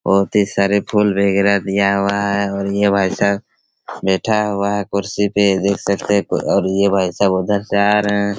बहुत ही सारे फूल वगेरा दिया हुआ है और ये भाई साब बैठा हुआ है कुर्सी पे इधर से एक और ये भाई साब उधर से आ रहे है।